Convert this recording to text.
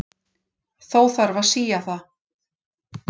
Þó þarf að sía það.